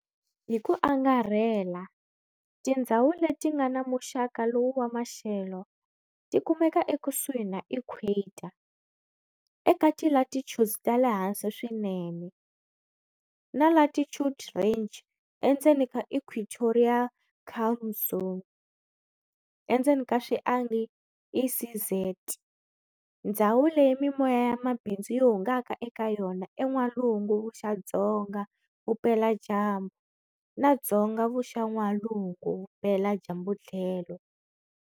Hiku angarhela, tindzhawu letingana muxaka lowu wa maxelo ti kumeka ekusuhi na equator, eka ti latitudes tale hansi swinene, na latitude range endzeni ka equatorial calm zone, ECZ, ndzhawu leyi mimoya ya mabindzu yi hungaka eka yona e n'walungu vuxa-dzonga vupela dyambu na dzonga vuxa-n'walungu vupela dyambu tlhelo.